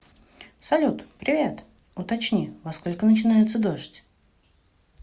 салют привет уточни во сколько начинается дождь